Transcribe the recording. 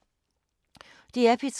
DR P3